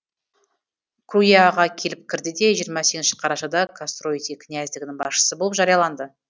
круяға келіп кірді де жиырма сегізінші қарашада кастроити князьдігінің басшысы болып жарияланды